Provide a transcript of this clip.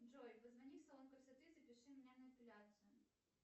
джой позвони в салон красоты запиши меня на эпиляцию